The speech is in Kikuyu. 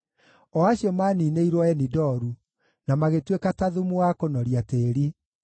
o acio maaniinĩirwo Enidoru, na magĩtuĩka ta thumu wa kũnoria tĩĩri.